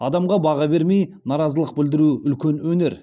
адамға баға бермей наразылық білдіру үлкен өнер